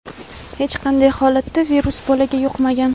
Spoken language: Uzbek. hech qanday holatda virus bolaga yuqmagan.